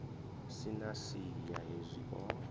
si na siya hezwi o